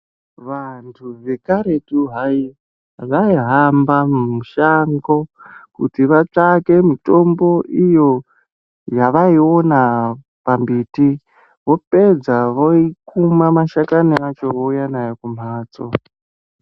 Vantu vekaretu hayi, vaihamba mushango, kuti vatsvake mitombo iyo yavaiona pambiti. Vopedza voikuma mashakani acho vouya nayo kumphatso.